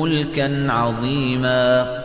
مُّلْكًا عَظِيمًا